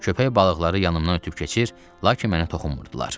Köpək balıqları yanımdan ötüb keçir, lakin mənə toxunmurdular.